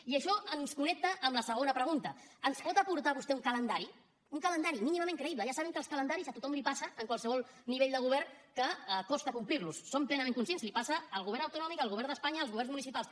i això ens connecta amb la segona pregunta ens pot aportar vostè un calendari un calendari mínimament creïble ja sabem que els calendaris a tothom li passa en qualsevol nivell de govern que costa complir los en som plenament conscients li passa al govern autonòmic al govern d’espanya als governs municipals